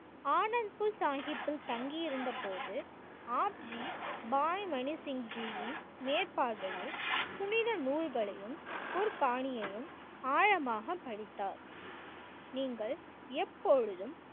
ஆனந்த்பூர் சாஹிப்பில் தங்கி இருந்தபோது ஆப் ஜி பாய் மணி சிங் ஜியின் மேற்பார்வையில் புனித நூல்களையும் போர்ப்பாணியையும் ஆழமாக பதித்தார். நீங்கள் எப்பொழுதும்